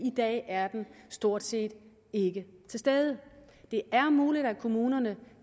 dag er den stort set ikke til stede det er muligt at kommunerne